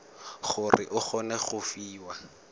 gore o kgone go fiwa